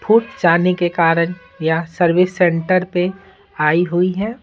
फूट जाने के कारण या सर्विस सेंटर पे आई हुई है।